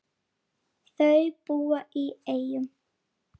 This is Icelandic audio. Þau búa í Eyjum.